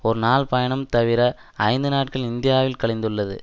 ஒரு நாள் பயணம் தவிர ஐந்து நாட்கள் இந்தியாவில் கழிந்துள்ளது